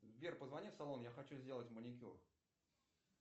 сбер позвони в салон я хочу сделать маникюр